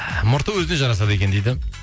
мұрты өзіне жарасады екен дейді